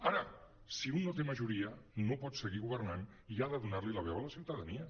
ara si un no té majoria no pot seguir governant i ha de donar li la veu a la ciutadania